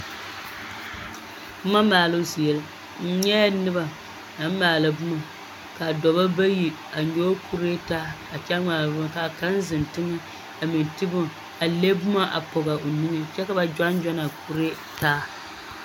Boma maaloo zie la, n nyɛɛ noba naŋ maala boma ka dɔbɔ bayi a nyɔge kuree taa a kyɛ ŋmaara bone k'a kaŋ zeŋ teŋɛ a meŋ te bone a le boma a pɔge a o niŋe kyɛ ka ba gyɔne gyɔne a kuree taa.